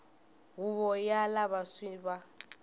huvo ya lava swi va